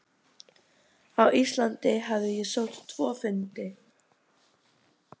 Á Íslandi hafði ég sótt tvo fundi.